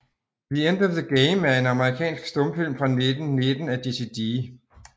The End of the Game er en amerikansk stumfilm fra 1919 af Jesse D